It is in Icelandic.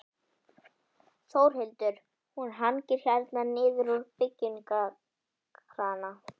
Þórhildur: Hún hangir hérna niður úr byggingakrana?